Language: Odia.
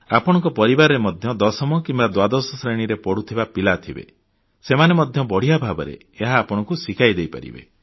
ଆପଣଙ୍କ ପରିବାରରେ ମଧ୍ୟ ଦଶମ କିମ୍ବା ଦ୍ୱାଦଶ ଶ୍ରେଣୀ ପଢ଼ୁଥିବା ପିଲା ଥିବେ ସେମାନେ ମଧ୍ୟ ବଢ଼ିଆ ଭାବରେ ଏହା ଆପଣଙ୍କୁ ଶିଖାଇ ଦେଇପାରିବେ